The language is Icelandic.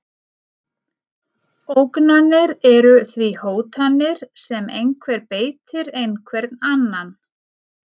Ógnanir eru því hótanir sem einhver beitir einhvern annan.